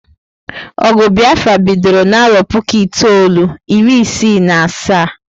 Ogụ Biafra bidoro n'arọ puku itoolu, iri isi na asaa